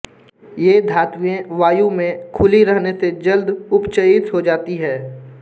ये धातुएँ वायु में खुली रहने से जल्द उपचयित हो जाती है